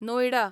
Noida